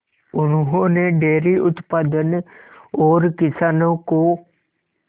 उन्होंने डेयरी उत्पादन और किसानों को